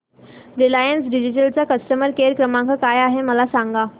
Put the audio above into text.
Reliance Digital चा customer care क्रमांक काय आहे मला सांगा